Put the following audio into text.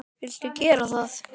Viltu gera það?